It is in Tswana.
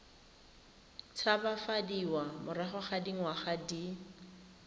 tshabafadiwa morago ga dingwaga di